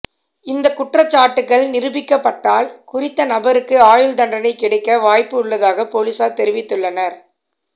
இந்த குற்றச்சாட்டுகள் நிரூபிக்கப்பட்டால் குறித்த நபருக்கு ஆயுள் தண்டனை கிடைக்க வாய்ப்பு உள்ளதாக பொலிசார் தெரிவித்துள்ளனர்